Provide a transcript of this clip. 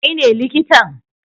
Kai ne likitan?